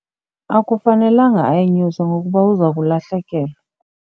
Akufanelanga ayinyuse ngokuba uza kulahlekelwa.